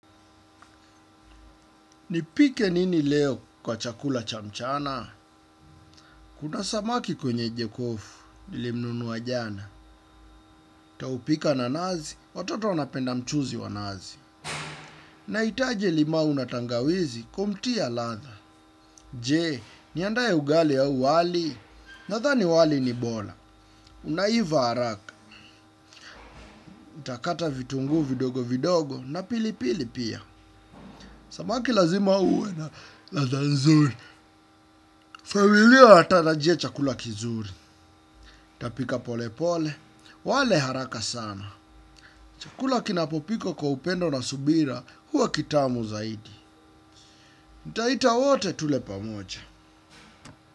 Nipike nini leo kwa chakula cha mchana? Kuna samaki kwenye jokofu, nilimnunua jana. Taupika na nazi watoto wanapenda mchuzi wa nazi. Na hitaji limau na tangawizi kumtia ladha. Je, niandae ugali au wali. Nadhani wali ni bora. Unaiva haraka nitakata vitunguu vidogo vidogo na pili pili pia. Samaki lazima uwe na ladha nzuri. Familia inatarajia chakula kizuri. Tapika pole pole wale haraka sana. Chukula kinapopikwa upendo na subira huwa kitamu zaidi. Nitaita wote tule pamoja.